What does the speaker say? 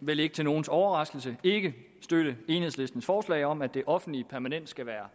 vel ikke til nogens overraskelse ikke støtte enhedslistens forslag om at det offentlige permanent skal være